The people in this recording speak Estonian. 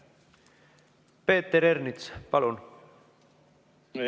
Peeter Ernits, palun!